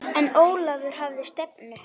En Ólafur hafði stefnu.